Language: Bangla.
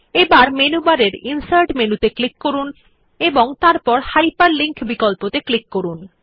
এখন মেনুবার এর ইনসার্ট মেনুতে ক্লিক করুন এবং তারপর হাইপারলিঙ্ক বিকল্পত়ে ক্লিক করুন